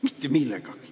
Mitte millegagi.